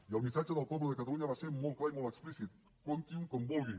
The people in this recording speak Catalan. i el missatge del poble de catalunya va ser molt clar i molt explícit comptinho com vulguin